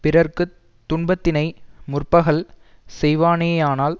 பிறர்க்கு துன்பத்தினை முற்பகல் செய்வானேயானால்